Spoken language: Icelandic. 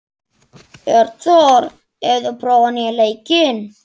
Hjörtþór, hefur þú prófað nýja leikinn?